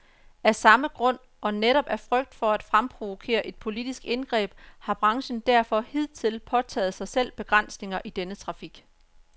Af samme grund, og netop af frygt for at fremprovokere et politisk indgreb, har branchen derfor hidtil pålagt sig selv begrænsninger i denne trafik.